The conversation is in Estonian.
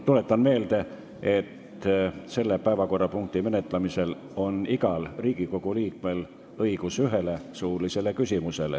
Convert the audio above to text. Tuletan meelde, et selle päevakorrapunkti menetlemisel on igal Riigikogu liikmel õigus esitada üks suuline küsimus.